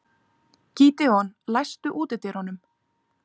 Gídeon, læstu útidyrunum.